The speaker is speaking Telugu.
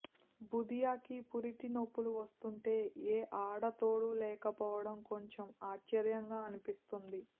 బుధియాకి పురిటినొప్పులు వస్తుంటే ఏ ఆడతోడూ లేకపోవటం కొంచెం ఆశ్చర్యంగా అనిపిస్తుంది